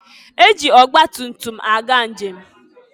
E ji ọgba tumtum aga njem.